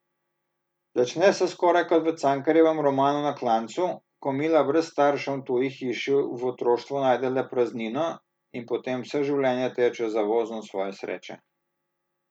Začne se skoraj kot v Cankarjevem romanu Na klancu, ko Mila brez staršev v tuji hiši v otroštvu najde le praznino in potem vse življenje teče za vozom svoje sreče.